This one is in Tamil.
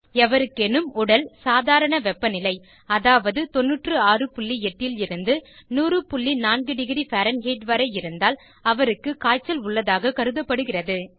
எவருக்கேனும் உடல் வெப்பநிலை சாதாரண வெப்பநிலை அதாவது 968 லிருந்து 1004º பேரன்ஹெய்ட் வரை இருந்தால் அவருக்கு காய்ச்சல் உள்ளதாக கருதப்படுகிறது